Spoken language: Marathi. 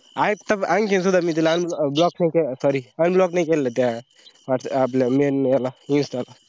आता आणखी सुद्धा मी तिला unblo block sorry unblock नई केलेलं आपलं main याला इन्स्टा ला